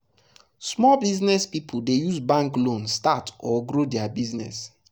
small business people dey use bank loan start or grow their business. their business.